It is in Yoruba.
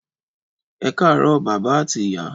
Ẹkarọ bàbá ati ìyá